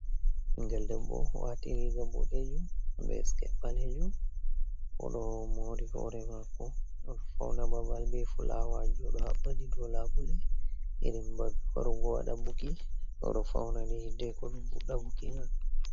Ɓigel debbo waati riiga boɗejum be siket ɓalejum. Oɗo moori hore maako. Oɗo fauna babal be fulawa ji, oɗo haɓɓa ɗi dow labule. Irin babe warugo waɗa buki, oɗo fauna ni hiddeko ɗum fuɗɗa buki mai.